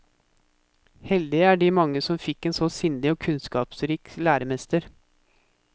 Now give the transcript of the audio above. Heldige er de mange som fikk en så sindig og kunnskapsrik læremester.